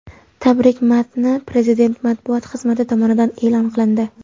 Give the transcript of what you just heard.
Tabrik matni Prezident matbuot xizmati tomonidan e’lon qilindi .